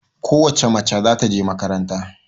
Ko wace mace za ta je makaranta.